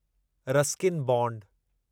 Ruskin bond